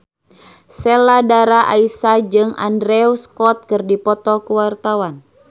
Sheila Dara Aisha jeung Andrew Scott keur dipoto ku wartawan